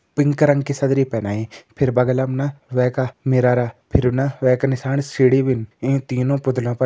pink रंग की सदरी पैनाई फिर बगलम ना वै का मिरर फिर न वै का नीसाण सीढी भीन इं तीनों पुतलों पर --